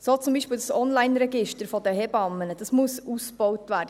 So muss zum Beispiel das Onlineregister der Hebammen ausgebaut werden.